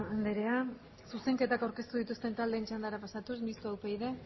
anderea zuzenketak aurkeztu dituzten taldeen txandara pasatuz mistoa upyd